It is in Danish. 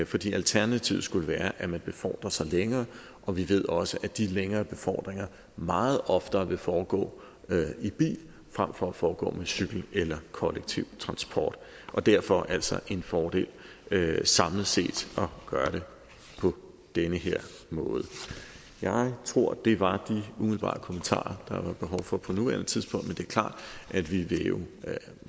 fordi alternativet skulle være at man befordrer sig længere og vi ved også at de længere befordringer meget oftere vil foregå i bil fremfor at foregå på cykel eller kollektiv transport derfor er det altså en fordel samlet set at gøre det på den her måde jeg tror at det var de umiddelbare kommentarer der har været behov for på nuværende tidspunkt men det er klart at vi jo